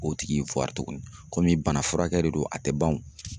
O tigi in tuguni komi banafurakɛ de don a tɛ ban o.